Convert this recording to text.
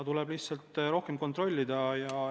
Tuleb lihtsalt rohkem kontrollida.